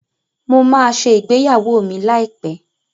Mo máa ṣe ìgbéyàwó mi láìpẹ́.